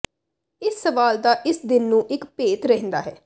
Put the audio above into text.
ਇਸ ਸਵਾਲ ਦਾ ਇਸ ਦਿਨ ਨੂੰ ਇੱਕ ਭੇਤ ਰਹਿੰਦਾ ਹੈ